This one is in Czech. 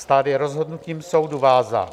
Stát je rozhodnutím soudu vázán.